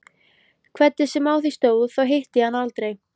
Hvernig sem á því stóð, þá hitti ég hana aldrei